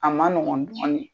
A maɔgɔn dɔɔnin